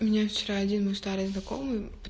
мне вчера один мой старый знакомый